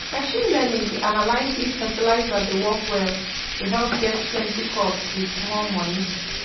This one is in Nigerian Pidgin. machine learning dey analyze if fertilizer dey work well to help get plenty crops with small money